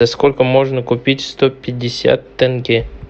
за сколько можно купить сто пятьдесят тенге